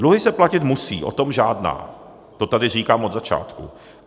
Dluhy se platit musí, o tom žádná, to tady říkám od začátku.